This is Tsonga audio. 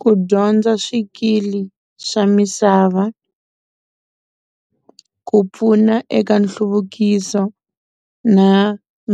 Ku dyondza swikili swa misava ku pfuna eka nhluvukiso na